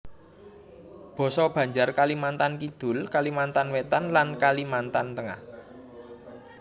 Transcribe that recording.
Basa Banjar Kalimantan Kidul Kalimantan Wétan lan Kalimantan Tengah